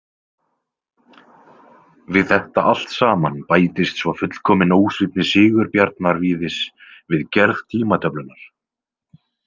Við þetta allt saman bætist svo fullkomin ósvífni Sigurbjarnar Víðis við gerð tímatöflunnar.